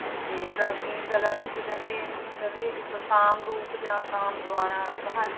ਤੇ ਪ੍ਰਾਚੀਨ ਕਲਾ ਵਿੱਚ ਕਹਿੰਦੇ ਇਹਨੂੰ ਕਹਿੰਦੇ ਇੱਕ ਕਾਮ ਰੂਪ ਜਾਂ ਕਾਮ ਦੁਆਰਾ ਬਹਾਲ